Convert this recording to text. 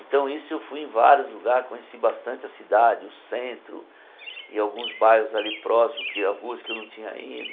Então isso eu fui em vários lugares, conheci bastante a cidade, o centro e alguns bairros ali próximo, ruas que eu não tinha ido.